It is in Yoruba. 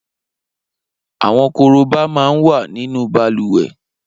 Awọn kóróbá má n wà ninu bàlùwẹ̀